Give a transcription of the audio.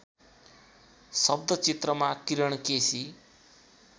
शब्दचित्रमा Kiran KC